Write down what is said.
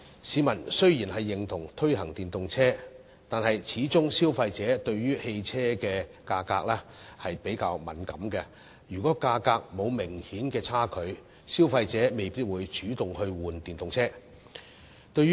市民雖然認同推廣電動車，但消費者對於汽車價格始終較敏感，如果價格沒有明顯差距，消費者未必會主動更換電動車。